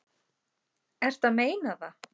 Ertu að meina það?